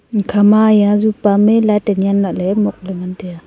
kha ma ya ajupa mai le tanya lahle mok le ngan tai a.